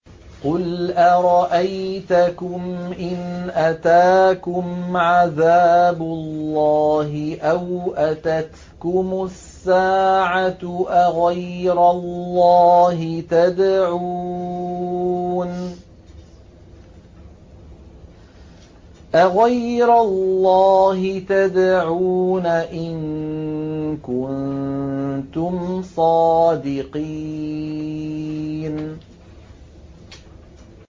قُلْ أَرَأَيْتَكُمْ إِنْ أَتَاكُمْ عَذَابُ اللَّهِ أَوْ أَتَتْكُمُ السَّاعَةُ أَغَيْرَ اللَّهِ تَدْعُونَ إِن كُنتُمْ صَادِقِينَ